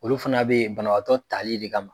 Olu fana bɛ yen banabaatɔ tali de kama.